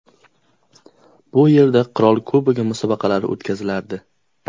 Bu yerda Qirol Kubogi musobaqalari o‘tkazilardi.